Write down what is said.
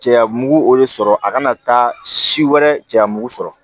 Cɛya mugu o re sɔrɔ a kana taa si wɛrɛ cɛya mugu sɔrɔ